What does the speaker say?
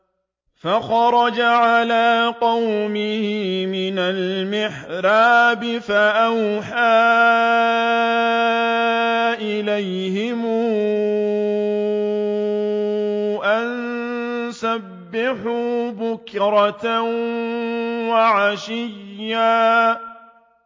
فَخَرَجَ عَلَىٰ قَوْمِهِ مِنَ الْمِحْرَابِ فَأَوْحَىٰ إِلَيْهِمْ أَن سَبِّحُوا بُكْرَةً وَعَشِيًّا